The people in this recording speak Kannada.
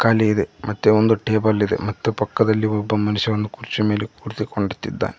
ಅಲ್ಲಿ ಇದೆ ಮತ್ತೆ ಒಂದು ಟೇಬಲ್ ಇದೆ ಮತ್ತೆ ಪಕ್ಕದಲ್ಲಿ ಒಬ್ಬ ಮನುಷ್ಯವನ್ನು ಕುರ್ಚಿ ಮೇಲೆ ಕುಡಿಸಿಕೊಂಡುತ್ತಿದ್ದ--